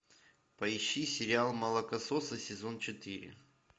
поищи сериал молокососы сезон четыре